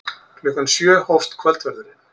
Klukkan sjö hófst kvöldverðurinn.